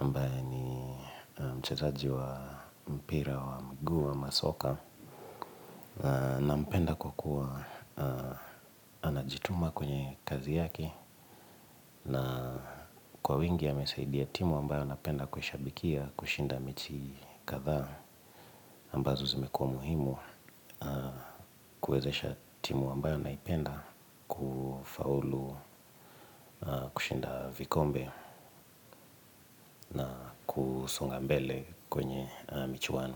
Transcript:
ambaye ni mchezaji wa mpira wa mgu ama soka. Na mpenda kwa kuwa anajituma kwenye kazi yake. Na kwa wingi yamesaidia timu ambayo napenda kueshabikia kushinda mechi katha ambazo zimekua muhimu kuezesha timu ambayo naipenda kufaulu kushinda vikombe na kusonga mbele kwenye michuano.